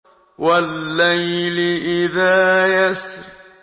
وَاللَّيْلِ إِذَا يَسْرِ